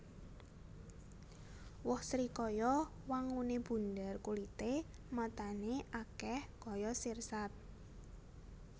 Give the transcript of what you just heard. Woh srikaya wanguné bunder kulité matané akèh kaya sirsat